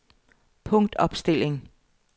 punktopstilling